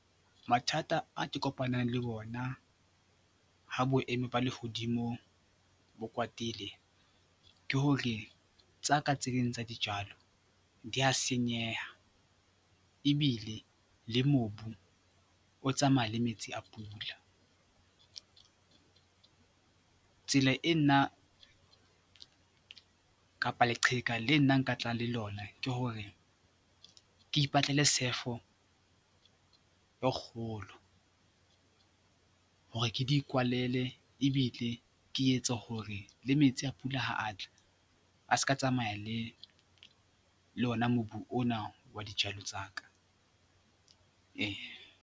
Mathata a ke kopanang le bona ha boemo ba lehodimo bo kwatile ke hore tsa ka tse ding tsa dijalo di a senyeha ebile le mobu o tsamaya le metsi a pula. Tsela e nna kapa leqheka le nna nka tlang le lona ke hore ke ipatlele sefo e kgolo hore ke di kwalele ebile ke etse hore le metsi a pula ha a tla a ska tsamaya le ona mobu ona wa dijalo tsa ka .